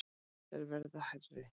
Þær verða hærri.